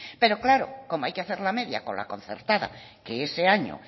pero claro como hay que hacer la media con la concertada que ese año